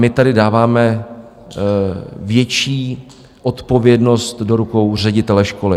My tady dáváme větší odpovědnost do rukou ředitele školy.